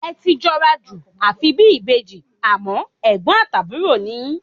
Ẹ ti jọra jù, àfi bí ìbejì, àmọ́, ẹ̀gbọ́n àti àbúrò ni yín.